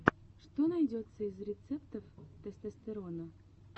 что найдется из рецептов тестостерона